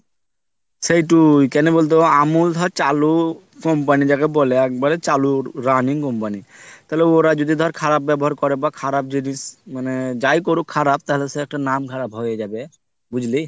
সেতুই কোনো বলতো অমুল ধর চালু company যাকে বলে একবারে চালু running company তাহলে ওরা যদি ধর খারাপ ব্যাবহার করে বা খারাপ যদি মানে যাই করুক খারাপ তাহলে সে একটা নাম খারাপ হয়ে যাবে বুঝলি।